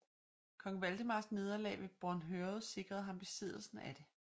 Kong Valdemars nederlag ved Bornhøved sikrede ham besiddelsen af det